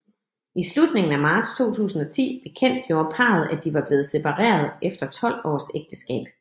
I slutningen af marts 2010 bekendtgjorde parret at de var blevet separeret efter 12 års ægteskab